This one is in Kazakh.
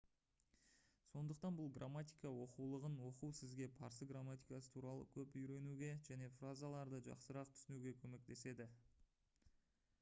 сондықтан бұл грамматика оқулығын оқу сізге парсы грамматикасы туралы көп үйренуге және фразаларды жақсырақ түсінуге көмектеседі